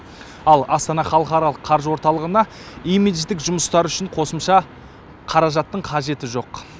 ал астана халықаралық қаржы орталығына имидждік жұмыстар үшін қосымша қаражаттың қажеті жоқ